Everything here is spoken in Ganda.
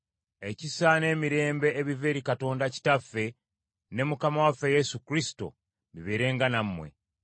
Ekisa n’emirembe ebiva eri Katonda Kitaffe ne Mukama waffe Yesu Kristo bibeerenga nammwe.